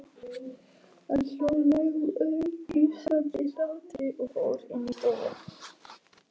Hann hló, lágværum, hnussandi hlátri og fór inn í stofu.